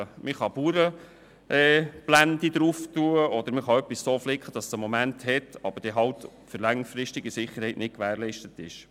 Man kann eine «Bauernblende» montieren, oder man kann etwas so flicken, dass es für eine gewisse Zeit hält, aber die längerfristige Sicherheit nicht gewährleistet ist.